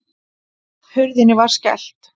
Hurðinni var skellt.